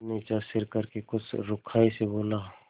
फिर नीचा सिर करके कुछ रूखाई से बोला